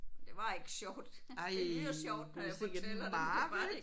Det var ikke sjovt. Det lyder sjovt når jeg fortæller det men det var det